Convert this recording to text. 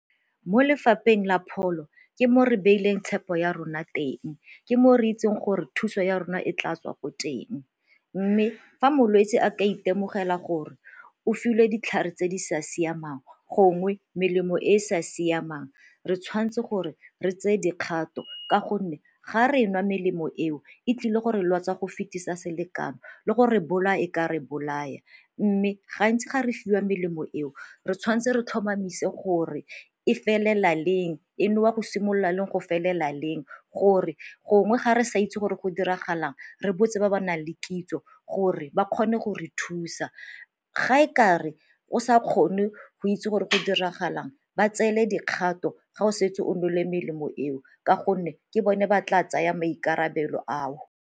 Mo lefapheng la pholo ke mo re beileng tshepo ya rona teng, ke moo re itseng gore thuso ya rona e tla tswa ko teng mme fa molwetsi a ka itemogela gore o filwe ditlhare tse di sa siamang gongwe melemo e e sa siamang re tshwanetse gore re tseye dikgato ka gonne ga re nwa melemo eo e tlile gore lwatsa go fetisa selekano le gore bolaya e ka re bolaya. Mme gantsi ga re fiwa melemo eo re tshwanetse re tlhomamise gore e felela leng, e nwewa go simolola leng go felela leng gore gongwe ga re sa itse gore go diragalang re botse ba ba nang le kitso gore ba kgone go re thusa. Ga e kare o sa kgone go itse gore go diragalang ba tseele dikgato, ga o setse o nole melemo eo ka gonne ke bone ba tla tsaya maikarabelo ao.